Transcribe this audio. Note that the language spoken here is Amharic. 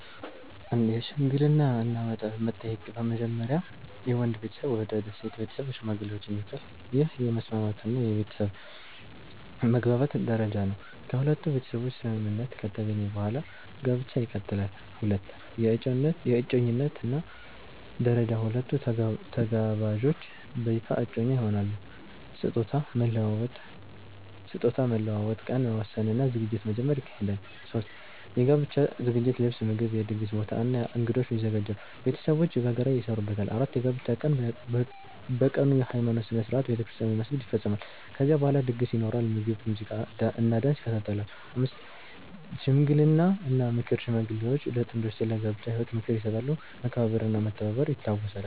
1) የሽምግልና እና መጠየቅ በመጀመሪያ የወንድ ቤተሰብ ወደ ሴት ቤተሰብ ሽማግሌዎችን ይልካሉ። ይህ የመስማማት እና የቤተሰብ መግባባት ደረጃ ነው። ከሁለቱ ቤተሰቦች ስምምነት ከተገኘ በኋላ ጋብቻ ይቀጥላል። 2) የእጮኝነት ደረጃ ሁለቱ ተጋባዦች በይፋ እጮኛ ይሆናሉ። ስጦታ መለዋወጥ፣ ቀን መወሰን እና ዝግጅት መጀመር ይካሄዳል። 3) የጋብቻ ዝግጅት ልብስ፣ ምግብ፣ የድግስ ቦታ እና እንግዶች ይዘጋጃሉ። ቤተሰቦች በጋራ ይሰሩበታል። 4) የጋብቻ ቀን በቀኑ የሃይማኖት ሥነ ሥርዓት (ቤተክርስቲያን ወይም መስጊድ) ይፈጸማል። ከዚያ በኋላ ድግስ ይኖራል፣ ምግብ፣ ሙዚቃ እና ዳንስ ይካተታሉ። 5) ሽምግልና እና ምክር ሽማግሌዎች ለጥንዶቹ ስለ ጋብቻ ህይወት ምክር ይሰጣሉ፣ መከባበር እና መተባበር ይታወሳሉ።